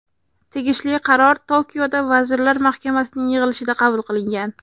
Tegishli qaror Tokioda vazirlar mahkamasining yig‘ilishida qabul qilingan.